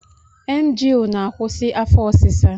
Emgyl na-akwusi afọ ọsịsa